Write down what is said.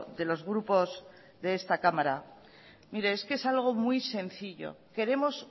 de los grupos de esta cámara mire es que es algo muy sencillo queremos